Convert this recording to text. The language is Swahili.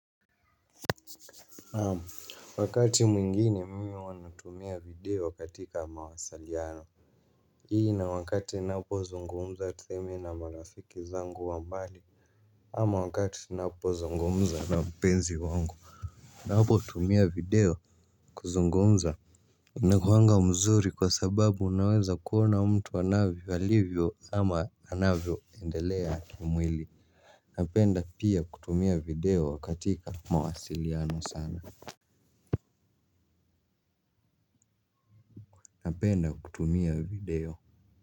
Naam. Wakati mwingine mimi huwa ninatumia video katika mawasiliano ili na wakati ninapozungumza tuseme na marafiki zangu wa mbali. Ama wakati tunapozungumza na mpenzi wangu ninapotumia video kuzungumza inakuwanga mzuri kwa sababu unaweza kuona mtu anavyo alivyo ama anavyoendelea kimwili. Napenda pia kutumia video katika mawasiliano sana. Napenda kutumia video.